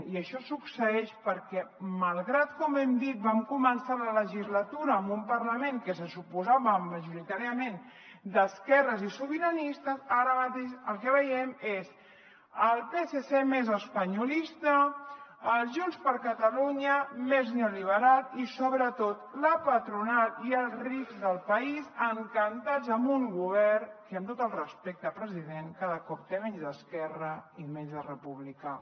i això succeeix perquè malgrat que com hem dit vam començar la legislatura amb un parlament que se suposava majoritàriament d’esquerres i sobiranista ara mateix el que veiem és el psc més espanyolista junts per catalunya més neoliberal i sobretot la patronal i els rics del país encantats amb un govern que amb tot el respecte president cada cop té menys d’esquerra i menys de republicà